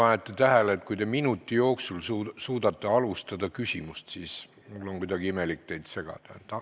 Kas te panite tähele, et kui te minuti jooksul suudate küsimust alustada, siis on mul kuidagi imelik teid segada?